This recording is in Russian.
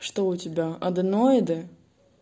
что у тебя аденоиды